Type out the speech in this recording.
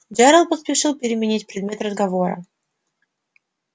джералд поспешил переменить предмет разговора